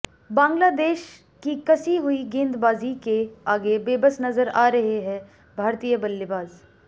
बांग्लादेश की कसी हुई गेंदबाजी के आगे बेबस नजर आ रहे हैं भारतीय बल्लेबाज